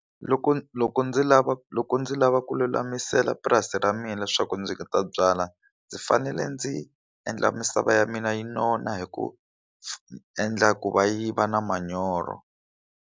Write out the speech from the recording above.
Loko loko ndzi lava loko ndzi lava lulamisela purasi ra mina leswaku ni ta byala ndzi fanele ndzi endla misava ya mina yi nona hi ku endla ku yi va na manyoro.